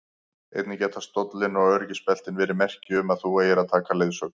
Einnig geta stóllinn og öryggisbeltin verið merki um að þú eigir að taka leiðsögn.